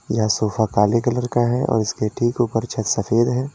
यह सोफा काले कलर का है और इसके ठीक ऊपर छत सफेद है।